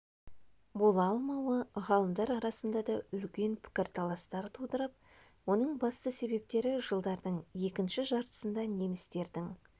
бола алмауы ғалымдар арасында да үлкен пікірталастар тудырып оның басты себептері жылдардың екінші жартысында немістердің